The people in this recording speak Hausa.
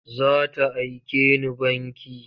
Za ta aike ni banki.